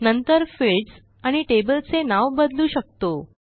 नंतर फिल्डस आणि टेबलचे नाव बदलू शकतो